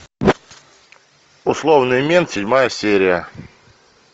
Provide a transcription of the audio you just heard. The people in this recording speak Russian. условный мент седьмая серия